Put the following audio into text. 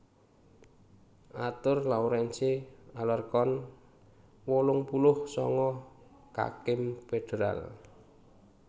Arthur Lawrence Alarcon wolung puluh sanga kakim féderal